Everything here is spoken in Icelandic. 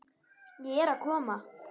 Ég er að koma